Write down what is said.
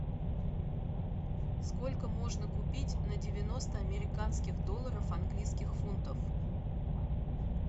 сколько можно купить на девяносто американских долларов английских фунтов